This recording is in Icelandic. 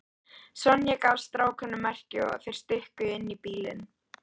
Sonja gaf strákunum merki og þeir stukku inn í bílinn.